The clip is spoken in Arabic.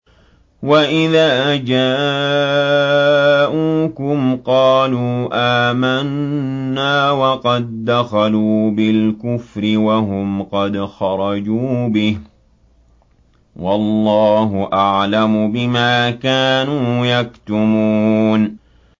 وَإِذَا جَاءُوكُمْ قَالُوا آمَنَّا وَقَد دَّخَلُوا بِالْكُفْرِ وَهُمْ قَدْ خَرَجُوا بِهِ ۚ وَاللَّهُ أَعْلَمُ بِمَا كَانُوا يَكْتُمُونَ